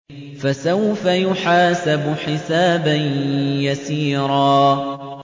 فَسَوْفَ يُحَاسَبُ حِسَابًا يَسِيرًا